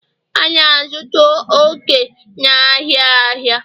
A na-azụta oke n'ahịa ahịa